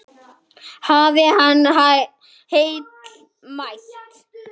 Hafi hann heill mælt.